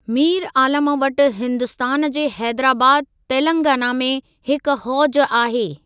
मीर आलम वटि हिन्दुस्तान जे हेदराबाद, तेलंगाना में हिक हौज आहे।